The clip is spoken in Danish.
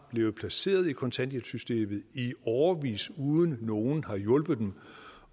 blevet placeret i kontanthjælpssystemet i årevis uden at nogen har hjulpet dem